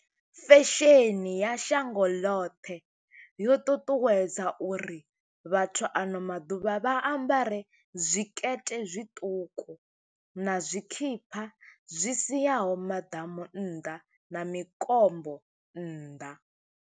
Fesheni ya shango ḽoṱhe, yo ṱuṱuwedza uri vhathu ano maḓuvha vha ambare zwikete zwiṱuku, na tshikhipha zwi siaho maḓamu nnḓa, na mikombo nnḓa.